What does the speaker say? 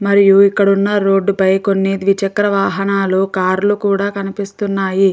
మరియు ఇక్కడ ఉన్న రోడ్డు పై కొన్ని ద్విచక్ర వాహనాలు కార్ లు కూడా కనిపిస్తున్నాయి.